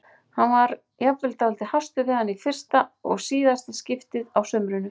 Hann varð jafnvel dálítið hastur við hana í fyrsta og síðasta skiptið á sumrinu.